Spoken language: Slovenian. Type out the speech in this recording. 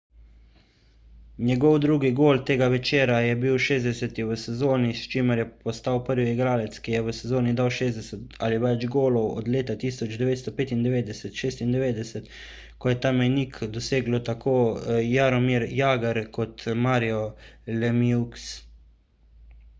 njegov drugi gol tega večera je bil njegov 60 v sezoni s čimer je postal prvi igralec ki je v sezoni dal 60 ali več golov od leta 1995–96 ko sta ta mejnik dosegla tako jaromir jagr kot mario lemieux